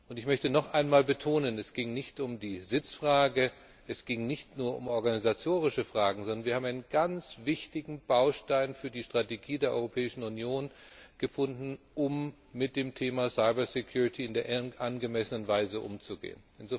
Ich möchte noch einmal betonen Es ging nicht um die Sitzfrage, es ging nicht nur um organisatorische Fragen, sondern wir haben einen ganz wichtigen Baustein für die Strategie der Europäischen Union gefunden, um mit dem Thema Cyber Security in der angemessenen Weise umzugehen.